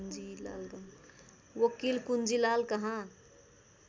वकिल कुञ्जीलालकहाँ